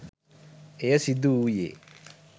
එය සිදුවූයේ